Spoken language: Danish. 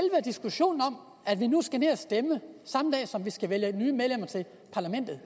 diskussionen om at vi nu skal ned at stemme samme dag som vi skal vælge nye medlemmer til parlamentet